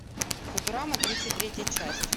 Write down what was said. футурама тридцать третья часть